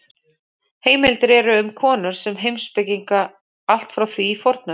Heimildir eru um konur sem heimspekinga allt frá því í fornöld.